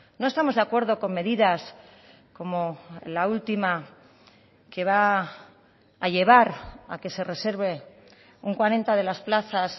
no estamos de acuerdo con medidas como la última que va a llevar a que se reserve un cuarenta de las plazas